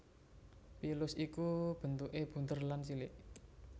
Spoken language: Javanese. Pilus iku bentukè bunder lan cilik